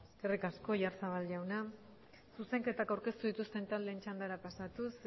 eskerrik asko oyarzabal jauna zuzenketak aurkeztu dituzten taldeen txandara pasatuz